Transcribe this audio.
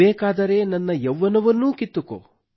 ಬೇಕಾದರೆ ನನ್ನ ಯೌವ್ವನವನ್ನೂ ಕಿತ್ತುಕೊ